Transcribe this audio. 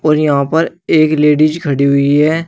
और यहां पर एक लेडीज खड़ी हुई है।